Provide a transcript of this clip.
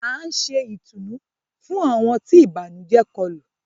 À n ṣè ìtùnú fún awọn tí ibànujẹ̀ kòlu.